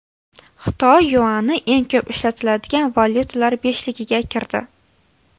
Xitoy yuani eng ko‘p ishlatiladigan valyutalar beshligiga kirdi.